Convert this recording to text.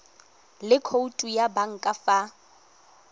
le khoutu ya banka fa